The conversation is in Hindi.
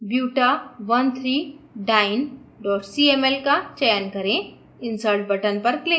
2methylbuta13diene cml का चयन करें